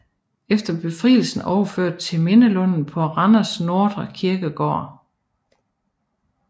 Efter befrielsen overført til Mindelunden på Randers Nordre Kirkegård